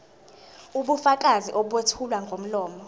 ubufakazi obethulwa ngomlomo